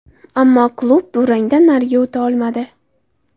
Ammo klub durangdan nariga o‘ta olmadi.